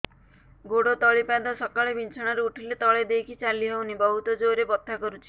ଗୋଡ ତଳି ପାଦ ସକାଳେ ବିଛଣା ରୁ ଉଠିଲେ ତଳେ ଦେଇକି ଚାଲିହଉନି ବହୁତ ଜୋର ରେ ବଥା କରୁଛି